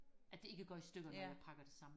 at det ikke går i stykker når jeg pakker det sammen